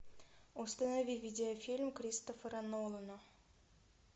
установи видеофильм кристофера нолана